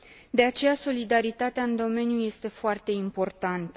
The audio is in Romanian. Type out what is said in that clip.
De aceea, solidaritatea în domeniu este foarte importantă.